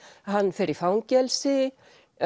hann fer í fangelsi